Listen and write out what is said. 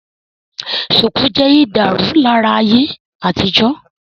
Shùkú jẹ́ ìdárunlárà ayé àtijọ́